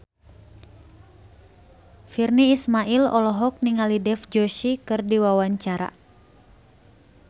Virnie Ismail olohok ningali Dev Joshi keur diwawancara